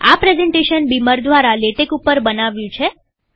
આ presentation beamer દ્વારા LaTeX ઉપર બનાવ્યું છે